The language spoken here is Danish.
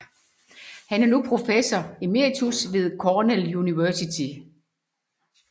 Han er nu professor emeritus ved Cornell University